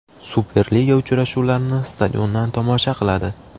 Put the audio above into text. Superliga uchrashuvlarini stadiondan tomosha qiladi.